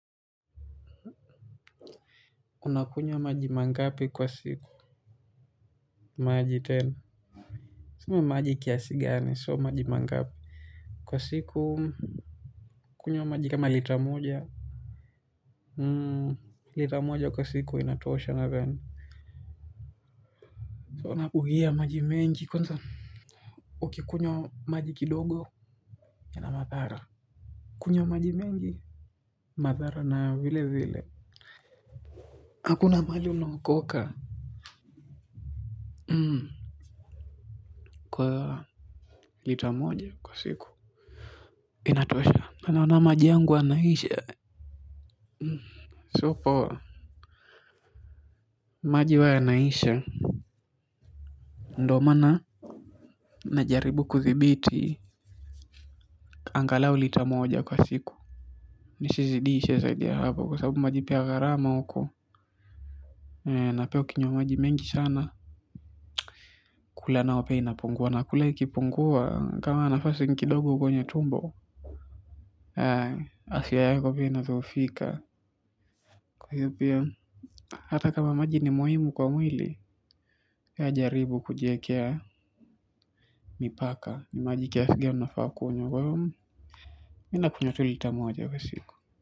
Unakunywa maji mangapi kwa siku? Maji tena? Sema maji kiasi gani sio maji mangapi kwa siku nakunywa maji kama lita moja Hmm lita moja kwa siku inatosha nadhani huwa nabugia maji mengi kwanza. Ukikunywa maji kidogo ina madhara. Kunywa maji mengi. Madhara na vile vile hakuna mahali unaokoka Hmm kwa lita moja kwa siku inatosha na naona maji yangu yanaisha so kwa maji huwa yanaisha ndiyo maana najaribu kudhibiti angalau lita moja kwa siku nisizidishe zaidi ya hapo kwa sababu maji pia gharama huko na pia ukinywa maji mengi sana kula nao pia inapungua na kula ikipungua kama nafasi ni kidogo kwenye tumbo afya yako pia inadhoofika kwa hiyo pia hata kama maji ni muhimu kwa mwili pia jaribu kujiekea mipaka ni maji kiasi gani unafaa kunywa kwa hiyo. Mimi nakunywa tu lita moja kwa siku.